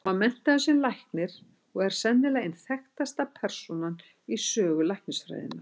Hann var menntaður sem læknir og er sennilega ein þekktasta persónan í sögu læknisfræðinnar.